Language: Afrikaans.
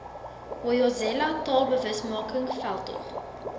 hoyozela taalbewusmaking veldtog